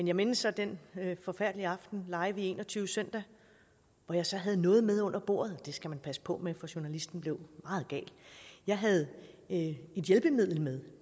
jeg mindes så den forfærdelige aften live i en og tyve søndag hvor jeg så havde noget med under bordet og det skal man passe på med for journalisten blev meget gal jeg havde et hjælpemiddel med